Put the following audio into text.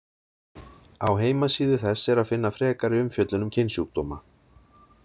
Á heimasíðu þess er að finna frekari umfjöllun um kynsjúkdóma.